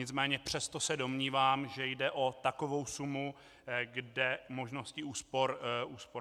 Nicméně přesto se domnívám, že jde o takovou sumu, kde možnosti úspor jsou.